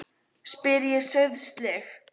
spyr ég sauðsleg.